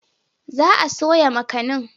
Za a soya makanin.